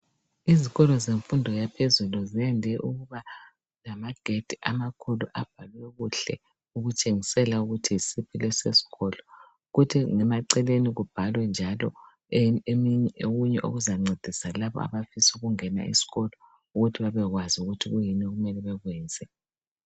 Izikolo zemfundo yaphezulu ziyande ukuba lamagedi amakhulu abhalwe kuhle ukutshengisela ukuthi yisiphi lesi sikolo. Kuthi ngemaceleni kubhalwe njalo okunye okuzancedisa labo abafisa ukungena esikolo ukuthi babekwazi ukuthi kuyini okumele bekwenze.